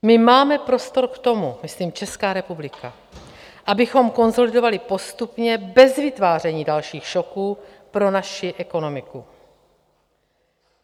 My máme prostor k tomu, myslím Česká republika, abychom konsolidovali postupně bez vytváření dalších šoků pro naši ekonomiku.